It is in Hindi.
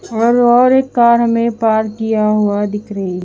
और और एक कार में पार्क किया हुआ दिख रही--